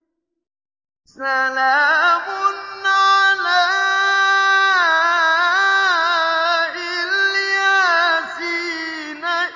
سَلَامٌ عَلَىٰ إِلْ يَاسِينَ